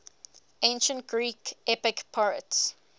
ancient greek epic poets